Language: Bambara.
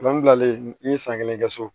n'i ye san kelen kɛ so